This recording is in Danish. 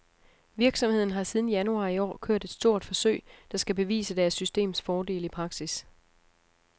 Virksomheden har siden januar i år kørt et stort forsøg, der skal bevise deres systems fordele i praksis.